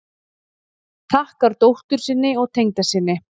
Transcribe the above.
Þakkar dóttur sinni og tengdasyni